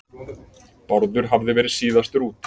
Bárður hafði verið síðastur út.